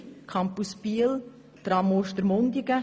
Ich erwähne hier den Campus Biel und das Tram Ostermundigen.